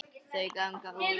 Þau ganga út.